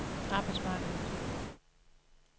arbejdsmarkedet